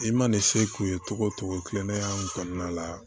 I mana ni se k'u ye togo togo kilennenya in kɔnɔna la